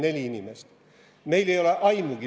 44 inimest.